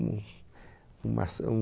Mas são